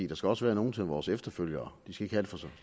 der skal også være nogle til vores efterfølgere